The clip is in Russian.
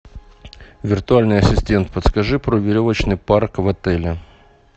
виртуальный ассистент подскажи про веревочный парк в отеле